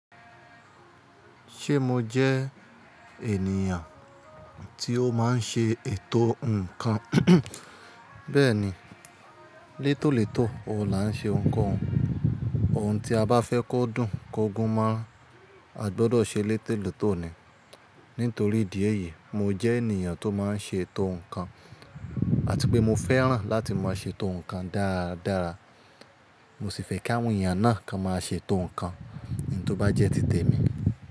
Ṣé mo jẹ́ ènìyàn tí ó máa ń ṣe ètò nǹkan? Bẹ́ẹ̀ni, létólètó o lá ń ṣe oun kohun. Ohun tí a bá fẹ́ kó dùn kógún mọrań, a gbọdọ̀ ṣe létólètó ni. Nítorí ìdí èyí, mo jẹ́ ènìyàn tó máa ń ṣe ètò nǹkan àti pé mo fẹ́ràn láti máa ṣe ètò nǹkan dára dára. Mo sì fẹ́ káwọn èèyàn náà kan máa ṣe ètò nǹkan ní tó bá jẹ́ ti tèmi.